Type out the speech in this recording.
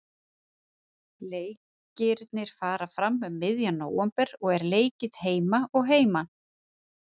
Leikirnir fara fram um miðjan nóvember og er leikið heima og heiman.